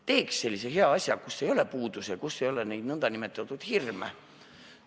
Teeks sellise hea asja, kus ei ole puudusi ja kus ei ole neid hirme.